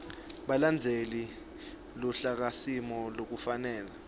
balandzele luhlakasimo lolufanele